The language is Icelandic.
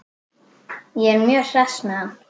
Ég er mjög hress með hann.